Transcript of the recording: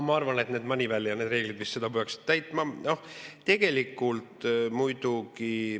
Ma arvan, et Moneyval ja need reeglid vist seda peaksid täitma.